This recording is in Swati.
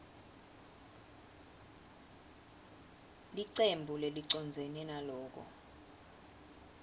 licembu lelicondzene naloko